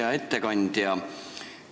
Hea ettekandja!